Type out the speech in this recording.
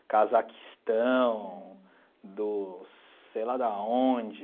Cazaquistão, do sei lá de onde.